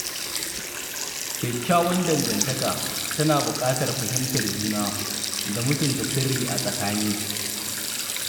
Kyakkyawar dangantaka tana buƙatar fahimtar juna da mutunta sirri a tsakani.